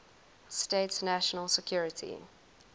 states national security